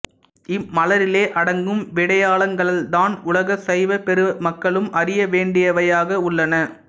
இம்மலரிலே அடங்கும் விடயங்களால்தான் உலக சைவப்பெரு மக்களும் அறிய வேண்டியவையாக உள்ளன